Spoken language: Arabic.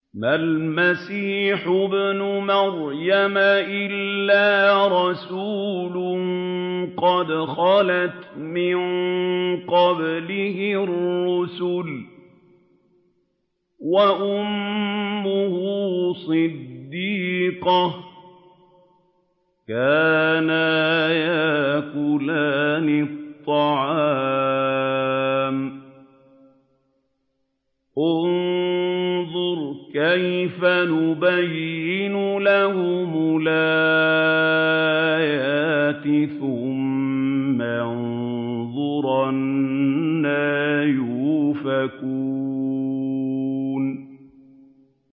مَّا الْمَسِيحُ ابْنُ مَرْيَمَ إِلَّا رَسُولٌ قَدْ خَلَتْ مِن قَبْلِهِ الرُّسُلُ وَأُمُّهُ صِدِّيقَةٌ ۖ كَانَا يَأْكُلَانِ الطَّعَامَ ۗ انظُرْ كَيْفَ نُبَيِّنُ لَهُمُ الْآيَاتِ ثُمَّ انظُرْ أَنَّىٰ يُؤْفَكُونَ